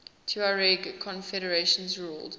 tuareg confederations ruled